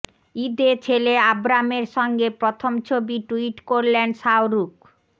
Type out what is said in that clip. ঈদে ছেলে আবরামের সঙ্গে প্রথম ছবি টুইট করলেন শাহরুখ